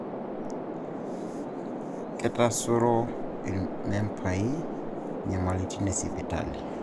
Kitaasuro irmembai inyamalitin e sipitali